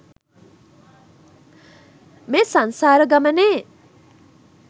මේ සංසාර ගමනේ්